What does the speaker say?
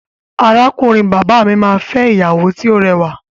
Arákùnrin bàbá mi máa fẹ́ ìyàwó tí ó rẹwà.